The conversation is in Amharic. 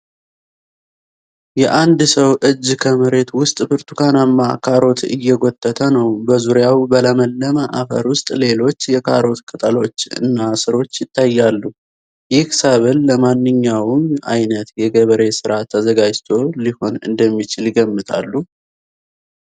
የአንድ ሰው እጅ ከመሬት ውስጥ ብርቱካናማ ካሮት እየጎተተ ነው። በዙሪያው በለመለመ አፈር ውስጥ ሌሎች የካሮት ቅጠሎች እና ሥሮች ይታያሉ። ይህ ሰብል ለማንኛውም ዓይነት የገበሬ ስራ ተዘጋጅቶ ሊሆን እንደሚችል ይገምታሉ?